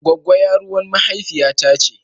Gwagggo yaruwan mahaifiya ta ce.